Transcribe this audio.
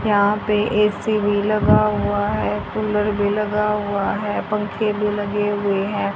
यहां पे ए_सी भी लगा हुआ है कूलर भी लगा हुआ है पंखे भी लगे हुए हैं।